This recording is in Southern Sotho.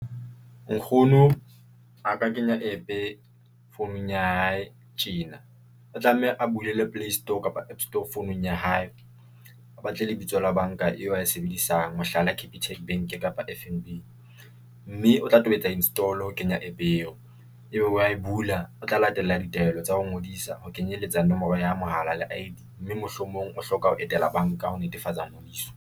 Nkgono a ka kenya app-e founung ya hae tjena, o tlameha a bulele Play store kapa app store founung ya hae, a batle lebitso la banka eo a e sebedisang, mohlala, Capitec Bank kapa F_N_B mme o tla tobetsa install ho kenya app eo e be wa e bula. O tla latela ditaelo tsa ho ngodisa ho ke nyeletsa nomoro ya mohala le I_D mme mohlomong o hloka ho etela banka ho netefatsa ngodiso.